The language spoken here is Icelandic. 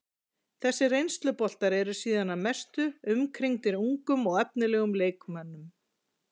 Þessir reynsluboltar eru síðan að mestu umkringdir ungum og efnilegum leikmönnum.